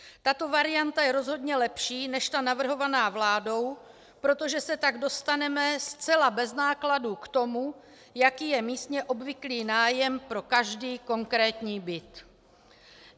Tato varianta je rozhodně lepší než ta navrhovaná vládou, protože se tak dostaneme zcela bez nákladů k tomu, jaký je místně obvyklý nájem pro každý konkrétní byt.